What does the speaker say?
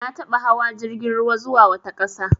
Na taɓa hawa jirgin ruwa zuwa wata ƙasa.